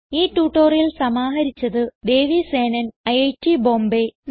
ഈ ട്യൂട്ടോറിയൽ സമാഹരിച്ചത് ദേവി സേനൻ ഐറ്റ് ബോംബേ